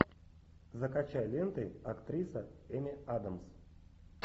закачай ленты актриса эми адамс